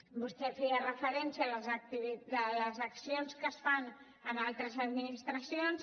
vostè feia referència a les accions que es fan en altres administracions